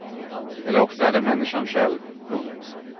Eller också är det människan själv. punkt